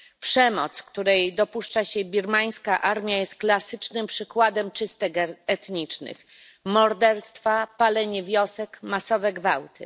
Przemoc, której dopuszcza się birmańska armia, jest klasycznym przykładem czystek etnicznych morderstwa, palenie wiosek, masowe gwałty.